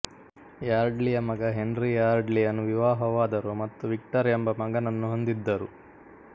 ಯಾರ್ಡ್ಲಿಯ ಮಗ ಹೆನ್ರಿ ಯಾರ್ಡ್ಲಿಯನ್ನು ವಿವಾಹವಾದರು ಮತ್ತು ವಿಕ್ಟರ್ ಎಂಬ ಮಗನನ್ನು ಹೊಂದಿದ್ದರು